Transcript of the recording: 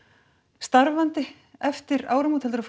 starfandi eftir áramót heldurðu að